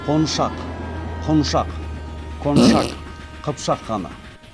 қоншақ құншақ коншак қыпшақ ханы